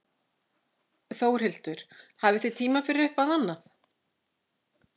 Þórhildur: Hafið þið tíma fyrir eitthvað annað?